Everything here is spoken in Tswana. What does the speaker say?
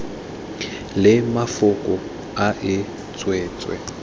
le mafoko a e tswetswe